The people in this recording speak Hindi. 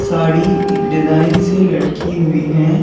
साड़ी डिजाइन से लटकी हुई हैं।